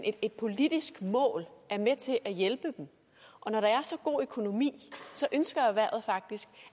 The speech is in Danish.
et politisk mål er med til at hjælpe dem og når der er så god økonomi ønsker erhvervet faktisk